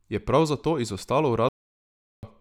Je prav zato izostalo uradno sporočilo?